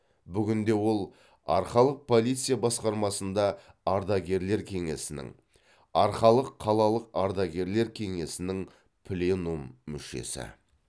бүгінде ол арқалық полиция басқармасында ардагерлер кеңесінің арқалық қалалық ардагерлер кеңесінің пленум мүшесі